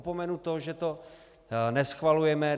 Opomenu to, že to neschvalujeme.